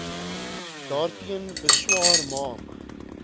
daarteen beswaar maak